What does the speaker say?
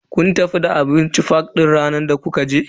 Kun tafi da abinci fak ranar da kuka je?